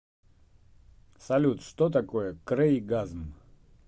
салют что такое крейгазм